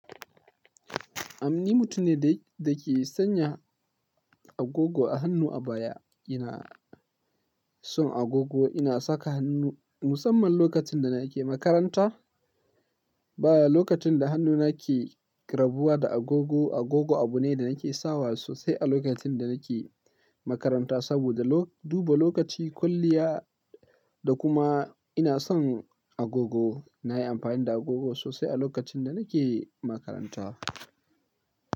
Am, ni mutum ne da ke sanya agogo a hannu a baya. Ina son agogo, ina saka hannu musamman lokacin da nake makaranta. Baya lokacin da hannuna ke rabuwa da agogo. Agogo abu ne da nake sawa sosai a lokacin da nake makaranta saboda duba lokaci, kwalliya da kuma ina son agogo. Na yi amfani da agogo sosai a lokacin da nake makaranta.